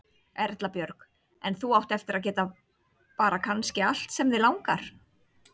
Erla Björg: En þú átt eftir að geta bara kannski allt sem þig langar?